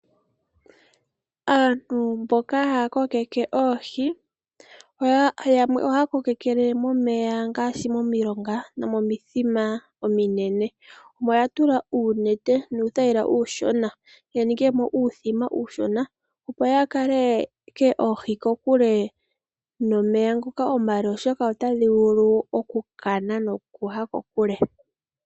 Aantu mboka haya kokeke oohi, yamwe oha kokekele momeya ngaashi momilonga nomomithima ominene. Omo ya tula uunete nuuthaila uushona, ya ninge mo uuthima uushona opo yakale ke oohi kokule nomeya ngoka omale oshoka otadhi vulu oku kana nokuya kokule.